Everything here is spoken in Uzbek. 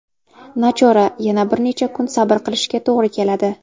Nachora, yana bir necha kun sabr qilishga tog‘ri keladi.